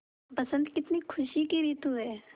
बसंत कितनी खुशी की रितु है